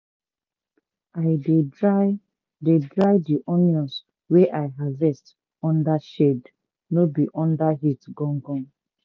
i dey dry dey dry di onions wey i harvest under shade no be under heat gangan.